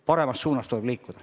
Paremas suunas tuleb liikuda.